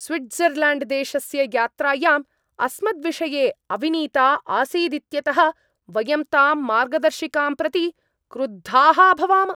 स्विट्ज़र्ल्याण्ड्देशस्य यात्रायाम् अस्मद्विषये अविनीता आसीदित्यतः वयं तां मार्गदर्शिकां प्रति क्रुद्धाः अभवाम।